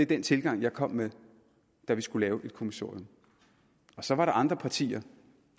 den tilgang jeg kom med da vi skulle lave et kommissorium så var der andre partier